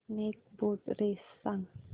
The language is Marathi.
स्नेक बोट रेस सांग